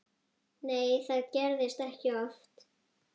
Nei það gerist ekki oft.